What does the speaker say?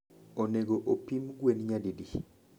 Onego opim gwen nyadidi?